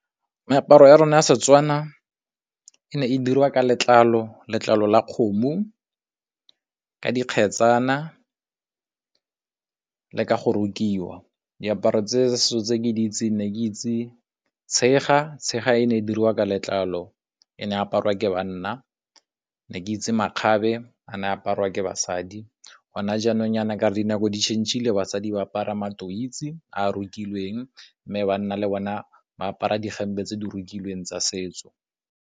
Meaparo ya rona ya Setswana e ne e dirwa ka letlalo, letlalo la kgomo, ka dikgetsana le ka go rokiwa. Diaparo tse setso tse ke di itseng ne ke itse tshega, tshega e ne e dirwa ka letlalo e ne aparwa ke banna, ne ke itse makgabe a ne aparwa ke basadi. Gone jaanong yana ka re dinako di-change-ile basadi ba apara matoise a rokilweng, mme banna le bona ba apara dihempe tse di rokilweng tsa setso.